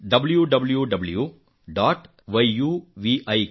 www